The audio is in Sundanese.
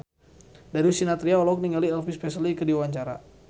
Darius Sinathrya olohok ningali Elvis Presley keur diwawancara